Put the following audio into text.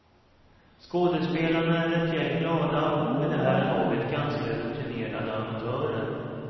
Skådespelarna är ett gäng glada och vid det här laget ganska rutinerade amatörer.